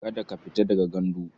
Kada ka fita daga gandu.